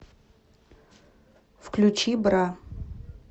включи бра